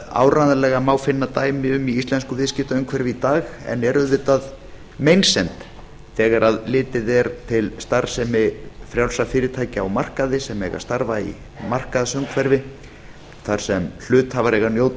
áreiðanlega má finna dæmi um í íslensku viðskiptaumhverfi í dag en er auðvitað meinsemd þegar litið er til starfsemi frjálsra fyrirtækja á markaði sem eiga að starfa í markaðsumhverfi þar sem hluthafar eiga að njóta